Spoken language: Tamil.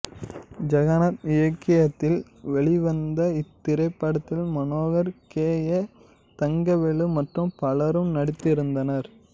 ஜெகநாத் இயக்கத்தில் வெளிவந்த இத்திரைப்படத்தில் மனோகர் கே ஏ தங்கவேலு மற்றும் பலரும் நடித்திருந்தனர்